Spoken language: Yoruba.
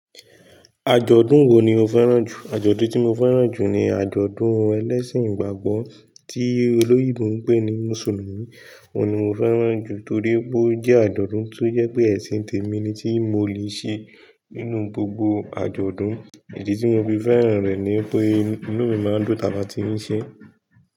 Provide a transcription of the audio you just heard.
Àjọ̀dún wo ni o fẹ́ràn jù? Àjọ̀dún tí mo fẹ́ràn jù ni àjọ̀dún ẹlẹ́sìn ìgbàgbọ́ tí olóyìnbó ń pè ní Mùsùlùmí. Òun ni mo fẹ́ràn jù torí pé ó jẹ́ àjọ̀dún tó je pé ẹ̀sìn tèmi ni tí mo le ṣe nínú gbogbo àjọ̀dún. Ìdí tí mo fi fẹ́ràn rẹ̀ ni pé inú mi máa ń dùn tálatí ń ṣe é.